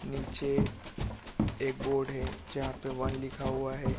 नीचे एक बोर्ड है जहाँ पे वन लिखा हुआ है ।